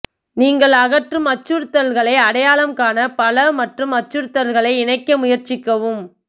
நீங்கள் அகற்றும் அச்சுறுத்தல்களை அடையாளம் காண பலம் மற்றும் அச்சுறுத்தல்களை இணைக்க முயற்சிக்கவும்